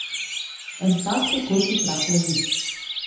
En tak tekoči trak laži.